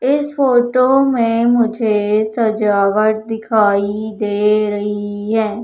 इस फोटो में मुझे सजावट दिखाई दे रही है।